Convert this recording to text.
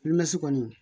kɔni